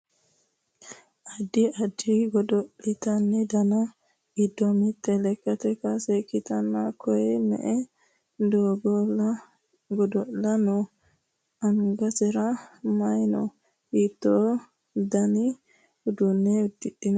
addi addi godo'lete dani giddo mitte lekkate kaase ikkitanna koye me"e godo'laano no? angansara maye no? hiitto dani uduunne uddidhino?